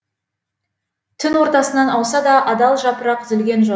түн ортасынан ауса да адал жапырақ үзілген жоқ